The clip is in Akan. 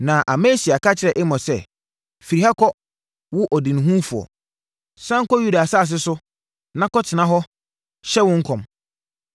Na Amasia ka kyerɛɛ Amos sɛ, “Firi ha kɔ, wo ɔdehunufoɔ! Sane kɔ Yuda asase so na kɔtena hɔ hyɛ wo nkɔm.